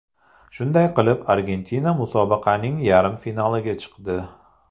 Shunday qilib, Argentina musobaqaning yarim finaliga chiqdi.